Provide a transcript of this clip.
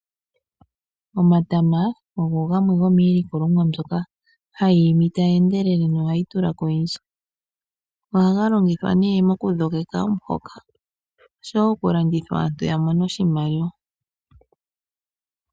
Omatama ogo gamwe gomiilikolomwa yimwe mbyoka hayi imi tayi endelele nohayi tula ko oyindji. Ohaga longithwa nee mokudhogeka omuhoka oshowo okulandithwa opo omuntu a mone oshimaliwa.